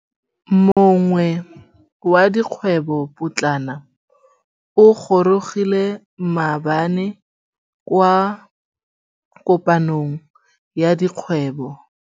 Moêng wa dikgwêbô pôtlana o gorogile maabane kwa kopanong ya dikgwêbô.